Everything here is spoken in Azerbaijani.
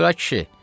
Buyur ay kişi!